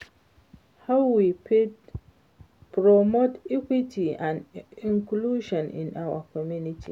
how we fit promote equity and inclusion in our community?